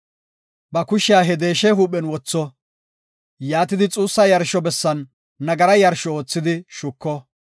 Ba kushiya he deeshe huuphen wotho; yaatidi xuussa yarsho bessan nagara yarsho oothidi shuko.